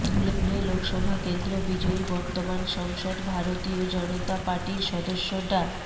ধুলে লোকসভা কেন্দ্র বিজয়ী বর্তমান সংসদ ভারতীয় জনতা পার্টির সদস্য ডাঃ